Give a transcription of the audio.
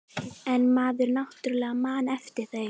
En maður náttúrlega man eftir þeim.